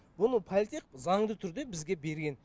мұны политех заңды түрде бізге берген